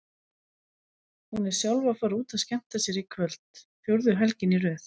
Hún er sjálf að fara út að skemmta sér í kvöld, fjórðu helgina í röð.